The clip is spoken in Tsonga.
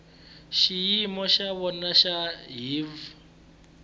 xiyimo xa vona xa hiv